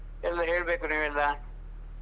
ಎಲ್ಲ ಹೇಳ್ಬೇಕು ನೀವೆಲ್ಲ?